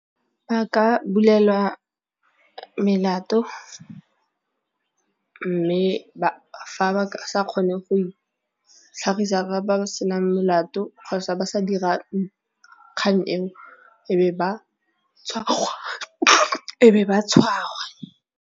Ba ka bulelwa melato mme fa ba sa kgone go itlhagisa ba ba se nang melato kgotsa ba sa dira kgang eo e be ba , e be ba tshwarwa.